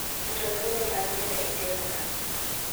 keto thumbe manyien e tepno